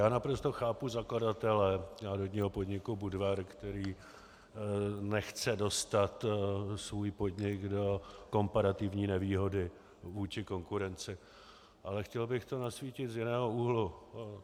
Já naprosto chápu zakladatele národního podniku Budvar, který nechce dostat svůj podnik do komparativní nevýhody vůči konkurenci, ale chtěl bych to nasvítit z jiného úhlu.